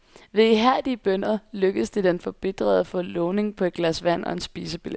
Ved ihærdige bønner lykkedes det den forbitrede at få lovning på et glas vand og en spisebillet.